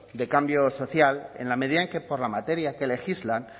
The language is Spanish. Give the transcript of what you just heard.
de cambio social en la medida en que por la materia que legislan